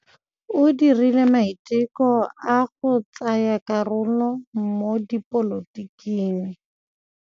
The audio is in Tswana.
O dirile maitekô a go tsaya karolo mo dipolotiking.